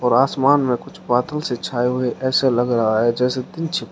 और आसमान में कुछ बादल से छाए हुए ऐसे लग रहा है जैसे पीछे --